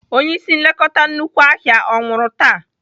Onye ịsị nlekọta nnukwu ahịa ọ nwụrụ taa?